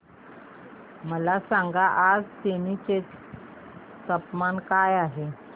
मला सांगा आज तेनी चे तापमान काय आहे